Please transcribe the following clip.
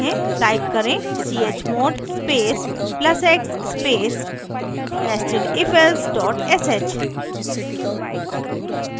type करें: chmod space plus x space nestedifelse sh